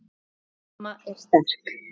Mamma er sterk.